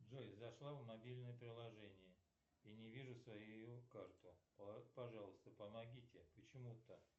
джой зашла в мобильное приложение и не вижу свою карту пожалуйста помогите почему то